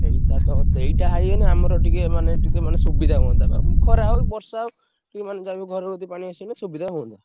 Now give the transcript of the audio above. ସେଇଟା ତ ସେଇଟା ହେଇଗଲେ ଆମର ଟିକେ ମାନେ ଟିକେ ମାନେ ସୁବିଧା ହୁଅନ୍ତା ଖରା ହଉ ବର୍ଷା ହଉ କି ମାନେ ଯାହାବି ହଉ ଘର କତିକି ପାଣି ଆସିଗଲେ ସୁବିଧା ହୁଅନ୍ତା।